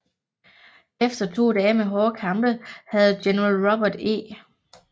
Efter to dage med hårde kampe havde General Robert E